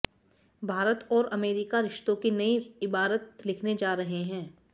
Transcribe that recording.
भारत और अमेरिका रिश्तों की नई इबारत लिखने जा रहे हैं